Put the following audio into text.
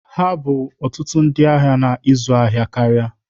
Ha bụ ọtụtụ ndị ahịa na ịzụ ahịa karịa.